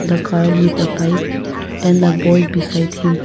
the car with a pipe and a boy beside him.